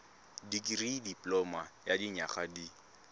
dikirii dipoloma ya dinyaga di